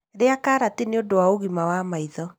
Rĩa karati nĩ ũndũ wa ũgima wa maitho.